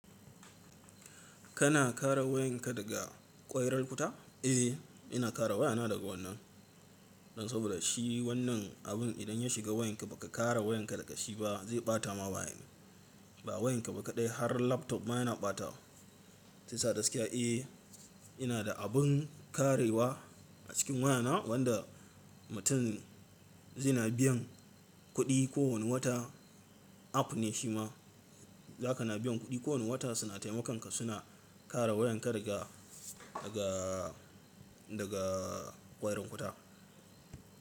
Kana kare wayanka daga ƙwairar wuta? Eh, ina kare wayana daga wannan don saboda shi wannan abun idan ya shiga wayanka ba ka kare wayanka daga shi ba zai ɓata ma wayan. Ba wayanka ba kaɗai har laptop ma yana ɓatawa. Shiyasa gaskiya eh, ina da abun karewa a cikin wayana wanda mutum zai na biyan kuɗi kowane wata app ne shi ma zaka na biyan kuɗi kowane wata suna taimakon ka suna kare wayan ka daga, daga, daga ƙwairon wuta.